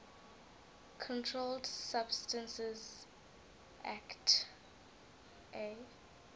controlled substances acte